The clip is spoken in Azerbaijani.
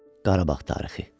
Qarabağ tarixi.